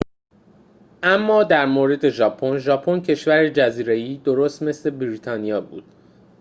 اما در مورد ژاپن ژاپن کشور جزیره‌ای درست مثل بریتانیا بود